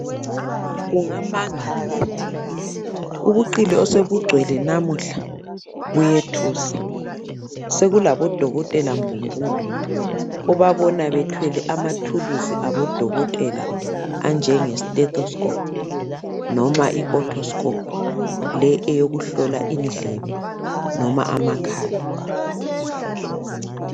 Ungamangala phela, ubuqili osebugcwele namuhla buyethusa! Sekulabodokotela mbumbulu obabona bethwele amathuluzi abodakotela anjenge stethoskhophu noma i- othoskophu le eyokuhlola indlebe noma amakhala.